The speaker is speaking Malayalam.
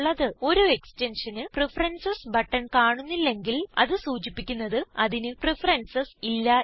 ഒരു Extensionന് പ്രഫറൻസസ് ബട്ടൺ കാണുന്നില്ലെങ്കിൽ അത് സൂചിപ്പിക്കുന്നത് അതിന് പ്രഫറൻസസ് ഇല്ല എന്നാണ്